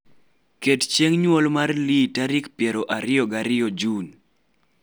ket chieng nyuol mar lee tarik piero ariyiga riyo Jun